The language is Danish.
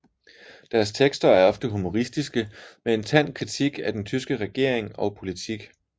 Deres tekster er ofte humoristiske med en tand kritik af den tyske regering og politik